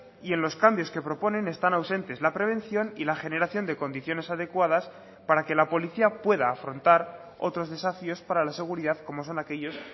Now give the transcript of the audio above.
y en los cambios que proponen están ausentes la prevención y la generación de condiciones adecuadas para que la policía pueda afrontar otros desafíos para la seguridad como son aquellos